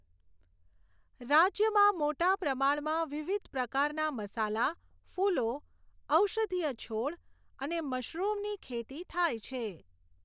રાજ્યમાં મોટા પ્રમાણમાં વિવિધ પ્રકારના મસાલા, ફૂલો, ઔષધીય છોડ અને મશરૂમની ખેતી થાય છે.